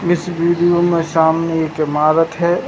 इस वीडियो में सामने एक इमारत है।